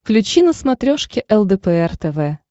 включи на смотрешке лдпр тв